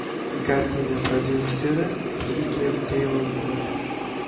Kartina prodyuseri Brigem Teylor bo‘ladi.